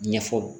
Ɲɛfɔ